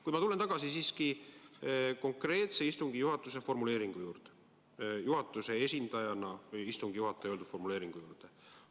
Kuid ma tulen siiski tagasi istungi juhataja konkreetse formuleeringu juurde, istungi juhataja kui juhatuse esindaja öeldud formuleeringu juurde.